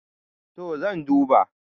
to zan duba